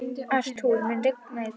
Arthúr, mun rigna í dag?